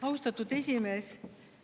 Austatud esimees!